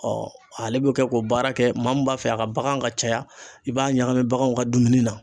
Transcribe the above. ale bɛ kɛ k'o baara kɛ maa min b'a fɛ a ka baganw ka caya i b'a ɲagami baganw ka dumuni na